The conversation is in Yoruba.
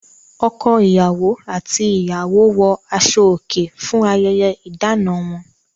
Ọkọ-ìyàwó àti ìyàwó wọ aṣọòkè fún ayẹyẹ ìdáná wọn.